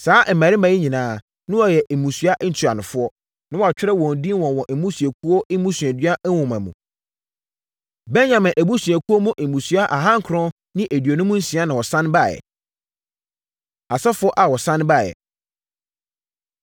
Saa mmarima yi nyinaa, na wɔyɛ mmusua ntuanofoɔ, na wɔatwerɛ wɔn din wɔ wɔn mmusuakuo mmusuadua nwoma mu. Benyamin abusuakuo mu mmusua aha nkron ne aduonum nsia na wɔsane baeɛ. Asɔfoɔ A Wɔsane Baeɛ